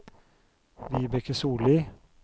Vibeke Sollie